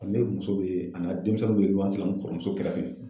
Ne muso bɛ an'a denmisɛnninw bɛ n kɔrɔmuso kɛrɛfɛ.